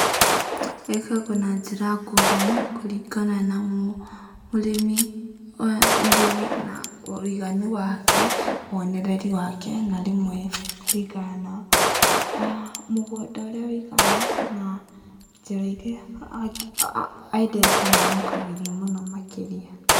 Ĩkoragwo na njĩra ngũrani kũringana na mũrĩmi, mũrĩmi na woiganu wake, wonereru wake na rĩmwe mũgũnda ũrĩa wũigana na njĩra iria endete na amũkagĩria mũno makĩria.